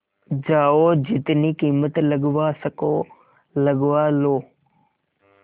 जाओ जितनी कीमत लगवा सको लगवा लो